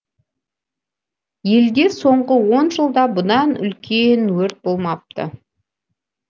елде соңғы он жылда бұдан үлкен өрт болмапты